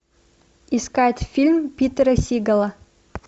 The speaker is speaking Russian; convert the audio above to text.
искать фильм питера сигала